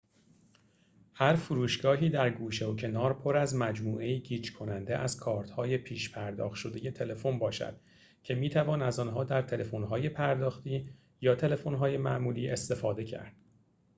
هر فروشگاهی در گوشه و کنار پر از مجموعه‌ای گیج کننده از کارت‌های پیش‌پرداخت شده تلفن باشد که می‌توان از آنها در تلفن‌های پرداختی یا تلفن‌های معمولی استفاده کرد